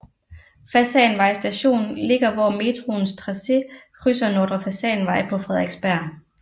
Fasanvej Station ligger hvor metroens tracé krydser Nordre Fasanvej på Frederiksberg